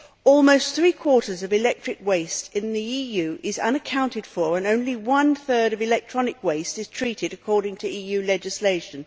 Almost three quarters of electric waste in the EU is unaccounted for and only one third of electronic waste is treated according to EU legislation.